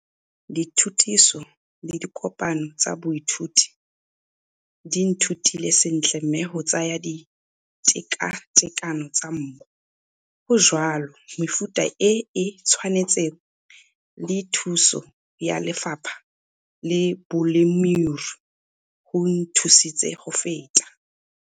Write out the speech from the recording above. Dithutiso le dikopano tsa biothuti di nthutile sentle mme go tsaya ditekatekano tsa mmu, go jwala mefuta e e tshwanetseng le thuso ya Lefapha la Bolemirui go nthusitse go feta.